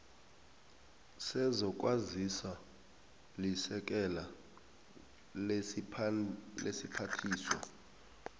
sezokwazisa lisekela lesiphathiswa